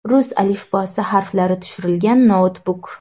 Rus alifbosi harflari tushirilgan noutbuk.